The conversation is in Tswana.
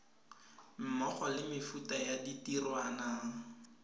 mmogo le mefuta ya ditirwana